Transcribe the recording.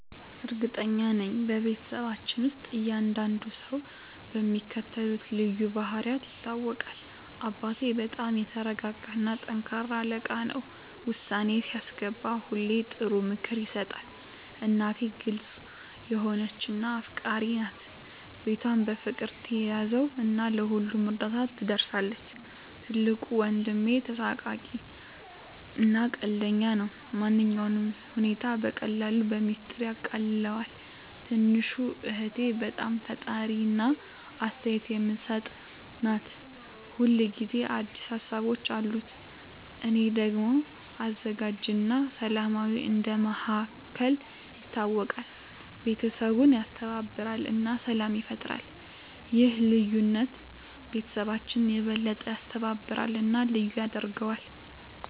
እርግጠኛ ነኝ፤ በቤተሰባችን ውስጥ እያንዳንዱ ሰው በሚከተሉት ልዩ ባህሪያት ይታወቃል - አባቴ በጣም የተረጋ እና ጠንካራ አለቃ ነው። ውሳኔ ሲያስገባ ሁሌ ጥሩ ምክር ይሰጣል። እናቴ ግልጽ የሆነች እና አፍቃሪች ናት። ቤቷን በፍቅር ትያዘው እና ለሁሉም እርዳታ ትደርሳለች። ትልቁ ወንድሜ ተሳሳቂ እና ቀልደኛ ነው። ማንኛውንም ሁኔታ በቀላሉ በሚስጥር ያቃልለዋል። ትንሹ እህቴ በጣም ፈጣሪ እና አስተያየት የምትሰጥ ናት። ሁል ጊዜ አዲስ ሀሳቦች አሉት። እኔ ደግሞ አዘጋጅ እና ሰላማዊ እንደ መሃከል ይታወቃለሁ። ቤተሰቡን ያስተባብራል እና ሰላም ይፈጥራል። ይህ ልዩነት ቤተሰባችንን የበለጠ ያስተባብራል እና ልዩ ያደርገዋል።